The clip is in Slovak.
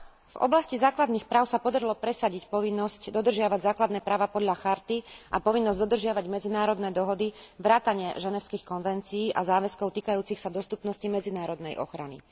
V oblasti základných práv sa podarilo presadiť povinnosť dodržiavať základné práva podľa charty a povinnosť dodržiavať medzinárodné dohody vrátane Ženevských konvencií a záväzkov týkajúcich sa dostupnosti medzinárodnej ochrany.